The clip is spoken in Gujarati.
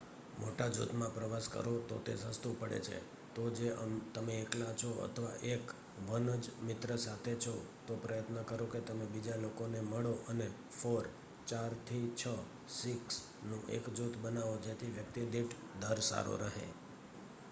મોટા જુથ માં પ્રવાસ કરો તો તે સસ્તું પડે છે તો જો તમે એકલા છો અથવા એક one જ મિત્ર સાથે છે તો પ્રયત્ન કરો કે તમે બીજા લોકોને મળો અને four ચાર થી છ six નું એક જુથ બનાવો જેથી વ્યક્તિ દીઠ દર સારો રહે